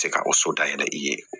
Se ka o so dayɛlɛ i ye